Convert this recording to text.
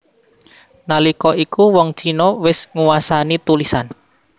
Nalika iku wong Cina wis nguwasani tulisan